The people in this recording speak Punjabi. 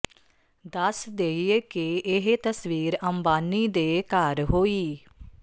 ਦੱਸ ਦੇਈਏ ਕਿ ਇਹ ਤਸਵੀਰ ਅੰਬਾਨੀ ਦੇ ਘਰ ਹੋਈ